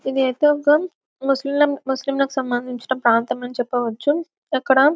ఇది ఐతే ఒక ముస్లిం ముస్లిం లకు సంబందించిన ప్రాంతం అని చెప్పవచ్చు ఇక్కడ--